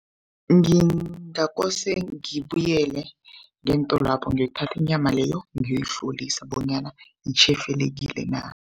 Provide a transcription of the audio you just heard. Ngingakose ngibuyele ngeentolwapho ngiyokuthatha inyama leyo ngiyoyihlolisa bonyana itjhefelekile na.